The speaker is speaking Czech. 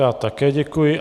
Já také děkuji.